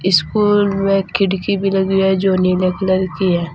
इस पर वे खिड़की भी लगी हुई है जो नीले कलर की है।